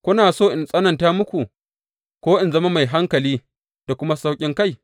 Kuna so in tsananta muku ko in zama mai hankali da kuma sauƙinkai?